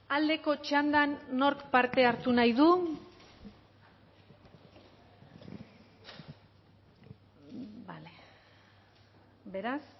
aldeko txandan nork parte hartu nahi du beraz